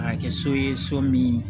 A kɛ so ye so min